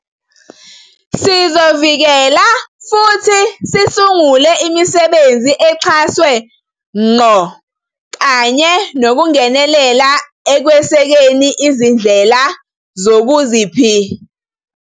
Sizovikela futhi sisungule imisebenzi exhaswe ngqo kanye nokungenelela ekwesekeni izindlela zokuziphi--